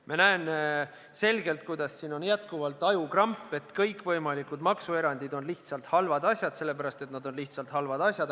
Ma näen selgelt, kuidas siin püsib ajukramp, et kõikvõimalikud maksuerandid on halvad asjad, sellepärast et nad on lihtsalt halvad asjad.